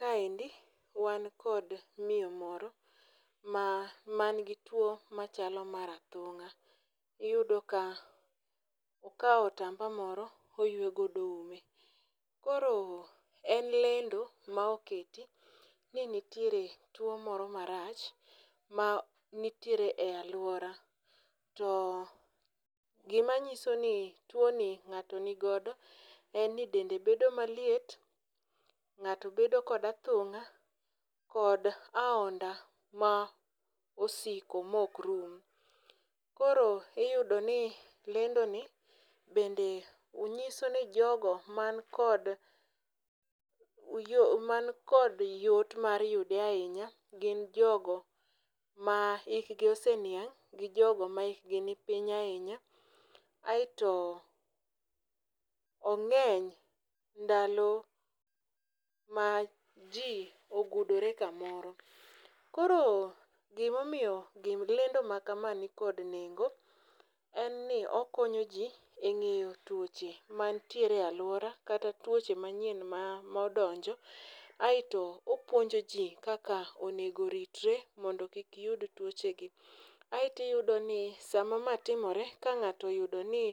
Kaendi, wan kod miyo moro, ma man gi two machalo mar athung'a. Iyudo ka okao otamba moro oywe godo ume. Koro en lendo ma oketi ni nitire two moro marach, ma nitire e alwora. To, gimanyiso ni tuoni ng'ato ni godo, en ni dende bedo maliet, ng'ato bedo kod athunga, kod ahonda ma osiko mokrun. Koro iyudo ni lendoni bende nyiso ne jogo man kod man kod yot mar yude ahinya, gin jogo ma hikgi oseniang', gi jogo ma hikgi ni piny ahinya, aeto ongeny ndalo ma ji ogudore kamoro. Koro, gimo miyo, gim lendo ma kama nikod nengo, en ni okonyo ji eng'eyo twoche manitiere aluora, kata twoche manyien ma modonjo, aeto opuonjo ji kaka onego ritre mondo kik yud twoche gi. Aeto iyudo ni sama ma timore, ka ng'ato yudo ni